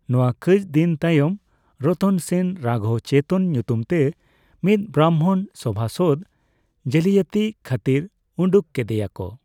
ᱱᱚᱣᱟ ᱠᱟᱹᱪᱫᱤᱱ ᱛᱟᱭᱚᱢ ᱨᱚᱛᱚᱱ ᱥᱮᱱ ᱨᱟᱜᱷᱚᱵ ᱪᱮᱛᱚᱱ ᱧᱩᱛᱩᱢᱛᱮ ᱢᱤᱫ ᱵᱷᱟᱨᱚᱢᱵᱚᱱ ᱥᱚᱵᱷᱟᱥᱚᱫ ᱡᱟᱹᱞᱤᱭᱟᱹᱛᱤ ᱠᱷᱟᱹᱛᱤᱨ ᱩᱰᱩᱜ ᱠᱮᱫᱮᱭᱟᱠᱚ ᱾